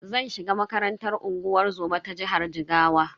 Zan shiga makarantar unguwar zoma ta jihar Jigawa.